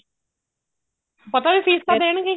ਪਤਾ ਵੀ fees ਤਾਂ ਦੇਣਗੇ ਹੀ